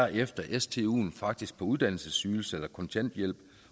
efter stuen faktisk er på uddannelsesydelse eller kontanthjælp